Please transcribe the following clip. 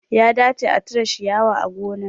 Ya dace a cire shiyawa a gona